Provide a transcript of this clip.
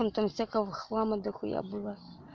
но там всякого хлама дохуя было